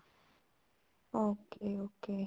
okay okay